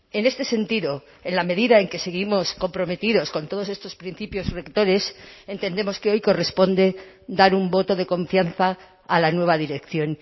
en este sentido en la medida en que seguimos comprometidos con todos estos principios rectores entendemos que hoy corresponde dar un voto de confianza a la nueva dirección